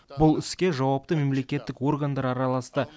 бұл іске жауапты мемлекеттік органдар араласты